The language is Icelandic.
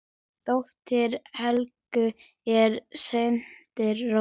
Dóttir Helgu er Sandra Rós.